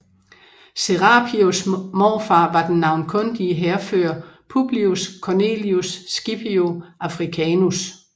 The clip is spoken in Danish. Serapios morfar var den navnkundige hærfører Publius Cornelius Scipio Africanus